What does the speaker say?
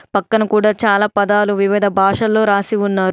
పక్కన కూడా చాలా పదాలు వివిధ భాషల్లో రాసి ఉన్నారు.